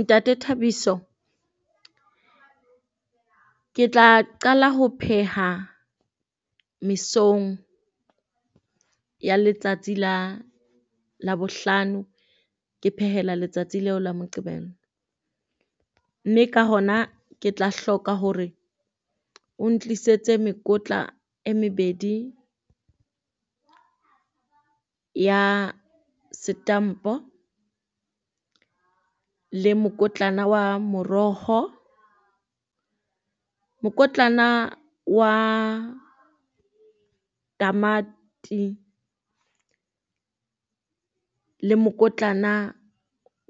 Ntate Thabiso ke tla qala ho pheha mesong ya letsatsi la Labohlano, ke phehela letsatsi leo la Moqebelo. Mme ka kgona ke tla hloka hore o ntlisetse mekotla e mebedi ya setampo le mokotlana wa morokgo mokotlana wa tamati le mokotlana